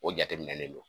O jateminɛlen do